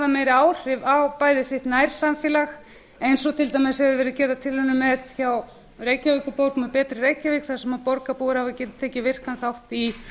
meiri áhrif á bæði sitt nærsamfélag eins og til dæmis hafa verið gerðar tilraunir með hjá reykjavíkurborg með betri reykjavík þar sem borgarbúar hafa getað tekið virkan þátt í